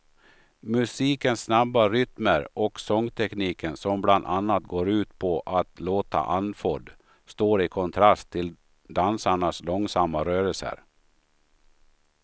Musikens snabba rytmer och sångtekniken som bland annat går ut på att låta andfådd står i kontrast till dansarnas långsamma rörelser.